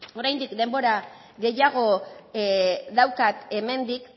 oraindik denbora gehiago daukat hemendik